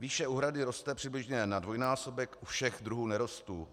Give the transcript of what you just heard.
Výše úhrady roste přibližně na dvojnásobek u všech druhů nerostů.